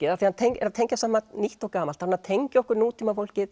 af því hann tengir saman nýtt og gamalt hann er að tengja okkur